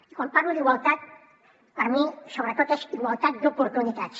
i quan parlo d’igualtat per mi sobretot és igualtat d’oportunitats